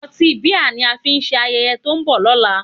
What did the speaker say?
Ọtí bíà ni a ó fi ṣe ayẹyẹ to ń bọ̀ lọ́nà